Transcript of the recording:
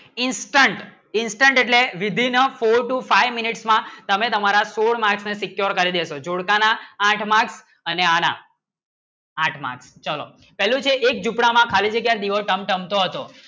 instant instant એટલે વિભન્ન four to five minutes માં તમે તમારા score mark ને secure કરી શો પ્રકાર ના આઠ mark અને આઠ mark ચલો જ્યું છે એક ઝૂંપડા માં ખાલી જગ્ય તમ તમ શો આસો